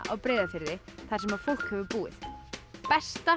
á Breiðafirði þar sem fólk hefur búið besta